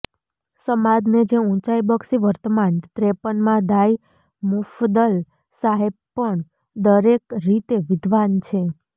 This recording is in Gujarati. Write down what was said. સમાજને જે ઉંચાઇ બક્ષી વર્તમાન ત્રેપનમાં દાઇ મુફદ્દલ સાહેબ પણ દરેક રીતે વિદ્વાન છે